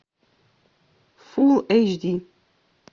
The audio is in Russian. фулл эйч ди